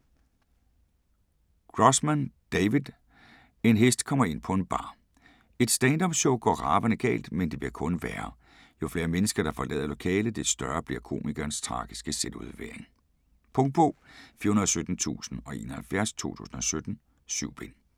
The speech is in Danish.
Grossman, David: En hest kommer ind på en bar Et stand-up show går ravende galt, men det bliver kun værre. Jo flere mennesker der forlader lokalet, des større bliver komikerens tragiske selvudlevering. Punktbog 417071 2017. 7 bind.